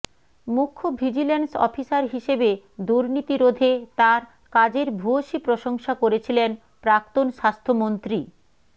মুখ্য vigilance officer হিসেবে দুর্নীতি রোধে তাঁর কাজের ভূয়সী প্রশংসা করেছিলেন প্রাক্তন স্বাস্থ্যমন্ত্রী